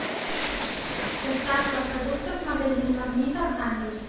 доставка продуктов магазин магнит архангельск